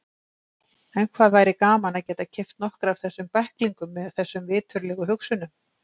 En hvað væri gaman að geta keypt nokkra af þessum bæklingum með þessum viturlegu hugsunum.